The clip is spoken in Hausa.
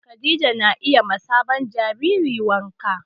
Khadija na yi ma sabon jaririn wanka